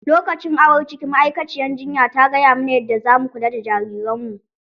Lokacin awon ciki ma'aikaciyar jinya ta gaya mana yadda zamu kula da jariran mu.